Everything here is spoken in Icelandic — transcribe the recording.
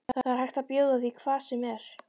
Það er hægt að bjóða því hvað sem er.